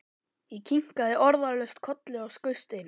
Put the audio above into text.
Ég kinkaði orðalaust kolli og skaust inn.